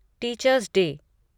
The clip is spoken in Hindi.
teachers day